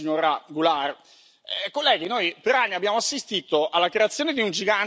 Colleghi, noi per anni abbiamo assistito alla creazione di un gigante dai piedi d'argilla.